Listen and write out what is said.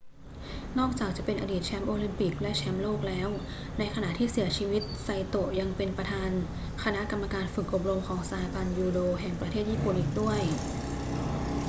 นอกจากจะเป็นอดีตแชมป์โอลิมปิกและแชมป์โลกแล้ว ในขณะที่เสียชีวิตไซโตะยังเป็นประธานคณะกรรมการฝึกอบรมของสหพันธ์ยูโดแห่งประเทศญี่ปุ่นอีกด้วย